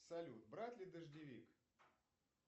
салют брать ли дождевик